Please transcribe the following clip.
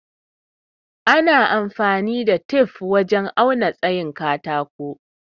Ana amfani da tif wajen auna tsayin katako.